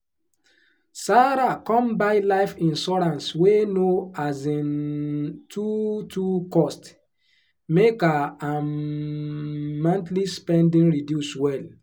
sarah come buy life insurance wey no um too too cost make her um monthly spending reduce well.